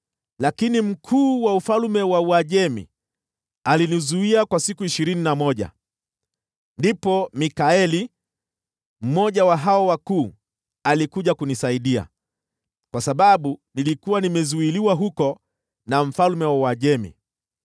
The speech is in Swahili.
Lakini mkuu wa ufalme wa Uajemi alinipinga kwa siku ishirini na moja. Ndipo Mikaeli, mmoja wa malaika wakuu, alikuja kunisaidia, kwa sababu nilikuwa nimezuiliwa huko na mfalme wa Uajemi.